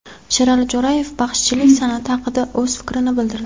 Sherali Jo‘rayev baxshichilik san’ati haqida o‘z fikrini bildirdi.